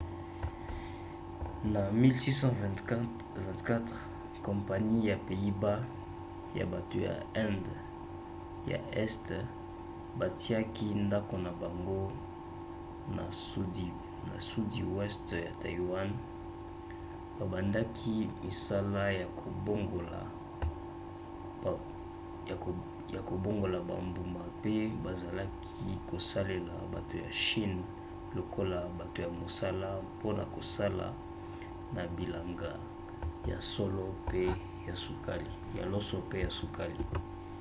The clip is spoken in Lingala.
na 1624 kompani ya pays-bas ya bato ya inde ya este batiaki ndako na bango na sudi weste ya taiwan babandaki misala ya kobongola bambuma pe bazalaki kosalela bato ya chine lokola bato ya mosala mpona kosala na bilanga ya loso mpe ya sukali